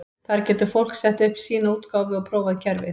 Þar getur fólk sett upp sína útgáfu og prófað kerfið.